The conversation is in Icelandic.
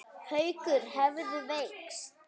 Haukur hefðu veikst.